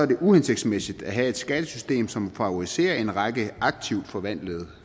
det uhensigtsmæssigt at have et skattesystem som favoriserer en række aktivt forvaltede